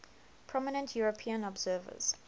prominent european observers